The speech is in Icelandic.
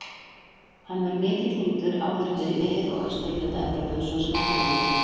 Hann var mikið tíndur áður fyrr í mið- og austurhluta Evrópu svo sem í Póllandi.